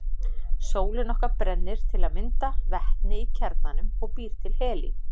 Sólin okkar brennir til að mynda vetni í kjarnanum og býr til helín.